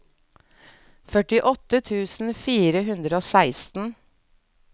førtiåtte tusen fire hundre og seksten